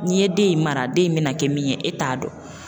N'i ye den in mara, den in bɛna kɛ min ye e t'a dɔn.